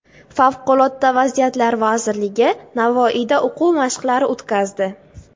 Favqulodda vaziyatlar vazirligi Navoiyda o‘quv mashqlari o‘tkazdi.